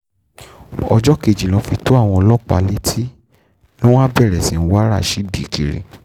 ọjọ́ kejì ló fi tó àwọn ọlọ́pàá létí ni wọ́n bá bẹ̀rẹ̀ sí í wá rasheed kiri